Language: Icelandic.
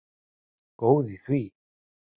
Góð í því!